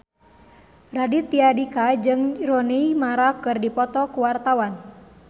Raditya Dika jeung Rooney Mara keur dipoto ku wartawan